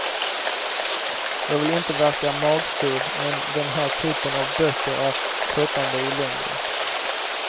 Jag vill inte verka magsur, men den här typen av böcker är tröttande i längden.